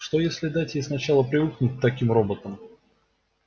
что если дать ей сначала привыкнуть к таким роботам